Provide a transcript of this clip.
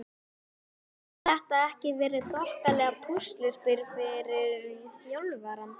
Hefur þetta ekki verið þokkalegt púsluspil fyrir þjálfarann?